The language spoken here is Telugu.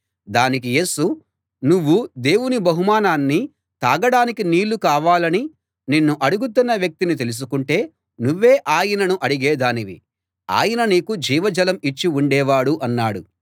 దానికి యేసు నువ్వు దేవుని బహుమానాన్నీ తాగడానికి నీళ్ళు కావాలని నిన్ను అడుగుతున్న వ్యక్తినీ తెలుసుకుంటే నువ్వే ఆయనను అడిగేదానివి ఆయన నీకు జీవజలం ఇచ్చి ఉండేవాడు అన్నాడు